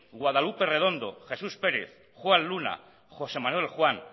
guadalupe redondo jesús pérez juan luna josé manuel juan